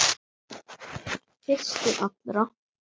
Fyrstur allra.